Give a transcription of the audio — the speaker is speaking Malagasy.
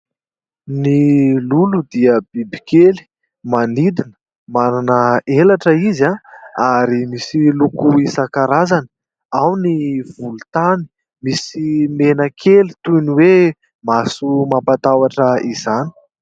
Ny lolo dia bibikely manidina, manana elatra izy ary misy loko isan-karazany : ao ny volontany, misy mena kely toy ny hoe maso mampatahotra izany.